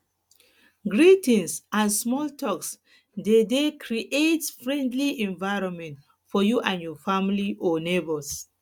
greetings and small talks de de create friendly environment for you and your family or neighbours